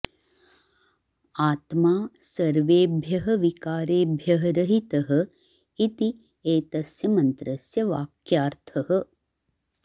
आत्मा सर्वेभ्यः विकारेभ्यः रहितः इति एतस्य मन्त्रस्य वाक्यार्थः